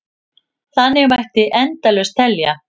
Þannig mætti endalaust telja.